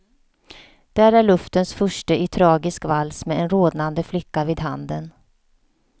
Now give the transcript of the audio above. Där är luftens furste i tragisk vals med en rodnande flicka vid handen.